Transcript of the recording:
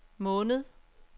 måned